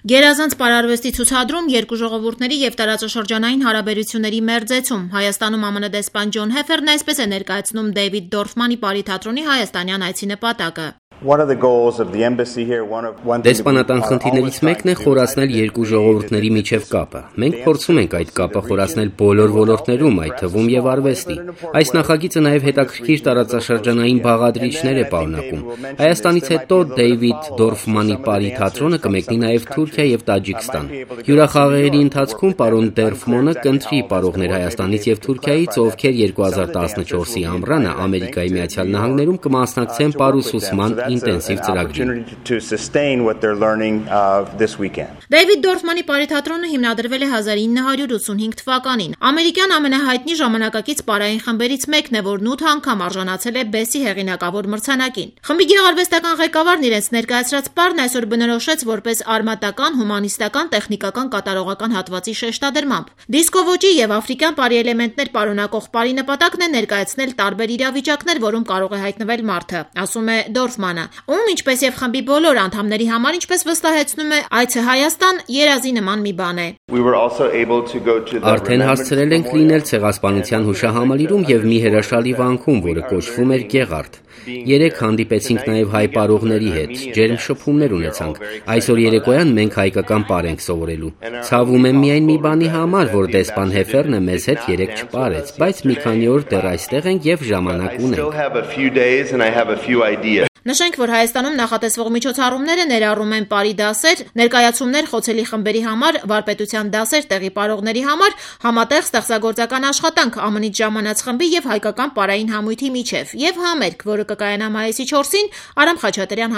«Գերազանց պարարվեստի ցուցադրում, երկու ժողովուրդների և տարածաշրջանային հարաբերությունների մերձեցում,- Հայատանում ԱՄՆ դեսպան Ջոն Հեֆերն այսպես է ներկայացնում Դեյվիդ պարի թատրոնի հայաստանյան այցի նպատակը։ Դեսպանատան խնդիրներից մեկն է խորացնել երկու ժողովուրդների միջև կապը: Մենք փորձում ենք այդ կապը խորացնել բոլոր ոլորտներում, այդ թվում՝ արվեստի: Այս նախագիծը նաև հետաքրքիր տարածաշրջանային բաղադրիչներ է պարունակում: Հայաստանից հետո Դեյվիդ պարի թատրոնը կմեկնի նաև Թուրքիա և Տաջիկստան: Հյուրախաղերի ընթացքում պարոն կընտրի պարողներ Հայաստանից և Թուրքիայից, ովքեր 2014-ի ամռանը ԱՄՆ-ում կմասնակցեն պարուսուցման ինտենսիվ ծրագրին»,- ներկայացնում է դիվանագետը։ պարի թատրոնը հիմնադրվել է 1985 թվականին, ամերիկյան ամենահայտնի պարային խմբերից մեկն է, որն ութ անգամ արժանացել է Բեսսի հեղիանակավոր մրցանակաին: Խմբի գեղարվեստական ղեկավարն իրենց ներկայացրած պարն այսօր բնորոշեց որպես արմատական-հումանիստական, տեխնիկակական- կատարողական հատվածի շեշտադրմամբ: Դիսկո ոճի և պարի էլեմենտներ պարունակող պարի նպատակն է ներկայացնել տարբեր իրավիճակներ, որում կարող է հայտնվել մարդը»,- ասում է ում, ինչպես և խմբի բոլոր անդամների համար, ինչպես ասում է, այցը Հայաստան երազի նման մի բան էր։ «Արդեն հասցրել ենք լինել Ցեղասպանության հուշահամալիրում և մի հրաշալի վանքում, որը կոչվում էր Գեղարդ: Երեկ հանդիպեցինք նաև հայ պարողների հետ, ջերմ շփումներ ունեցանք: Այսօր երեկոյան մենք հայկական պար ենք սովորելու: Ցավում եմ միայն, որ դեսպան Հեֆերնը երեկ մեզ հետ չպարեց, բայց մի քանի օր դեռ այստեղ ենք և ժամանակ ունենք»,- ասում է։ Նշենք, որ Հայաստանում նախատեսվող միջոցառումները ներառում են պարի դասեր, ներկայացումներ խոցելի խմբերի համար, վարպետության դասեր տեղի պարողների համար, համատեղ ստեղծագործական աշխատանք ԱՄՆ-ից ժամանած խմբի և հայկական պարային համույթի միջև և համերգ, որը կկայանա մայիսի 4-ին՝ Արամ Խաչատրյան